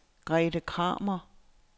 Grethe Kramer